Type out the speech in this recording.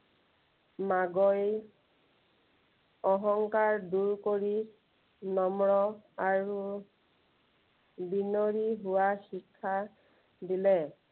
অহংকাৰ দূৰ কৰি নম্ৰ আৰু বিনয়ী হোৱাৰ শিক্ষা দিলে।